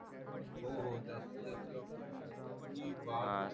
हो हो जास्ती जास्त वापर आणि